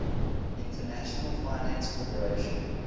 international finance corporation